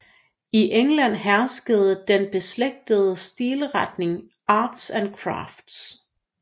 I England herskede den beslægtede stilretning Arts and Crafts